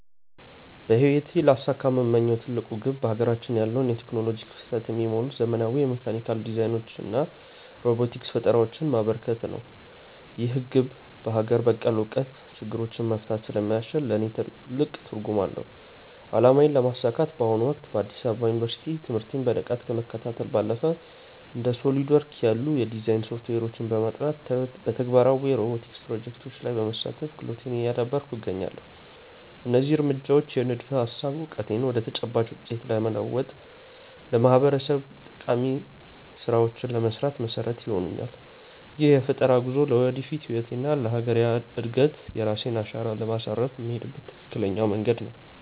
በህይወቴ ሊያሳኩት የምመኘው ትልቁ ግብ በሀገራችን ያለውን የቴክኖሎጂ ክፍተት የሚሞሉ ዘመናዊ የሜካኒካል ዲዛይኖችንና ሮቦቲክስ ፈጠራዎችን ማበርከት ነው። ይህ ግብ በሀገር በቀል እውቀት ችግሮችን መፍታት ስለሚያስችል ለእኔ ትልቅ ትርጉም አለው። አላማዬን ለማሳካት በአሁኑ ወቅት በአዲስ አበባ ዩኒቨርሲቲ ትምህርቴን በንቃት ከመከታተል ባለፈ፣ እንደ SOLIDWORKS ያሉ የዲዛይን ሶፍትዌሮችን በማጥናት እና በተግባራዊ የሮቦቲክስ ፕሮጀክቶች ላይ በመሳተፍ ክህሎቴን እያዳበርኩ እገኛለሁ። እነዚህ እርምጃዎች የንድፈ-ሀሳብ እውቀቴን ወደ ተጨባጭ ውጤት በመለወጥ ለማህበረሰቤ ጠቃሚ ስራዎችን ለመስራት መሰረት ይሆኑኛል። ይህ የፈጠራ ጉዞ ለወደፊት ህይወቴና ለሀገሬ እድገት የራሴን አሻራ ለማሳረፍ የምሄድበት ትክክለኛ መንገድ ነው።